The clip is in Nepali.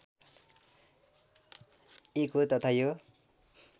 एक हो तथा यो